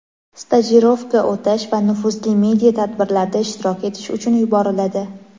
stajirovka o‘tash va nufuzli media tadbirlarda ishtirok etish uchun yuboriladi.